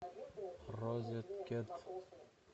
розеткед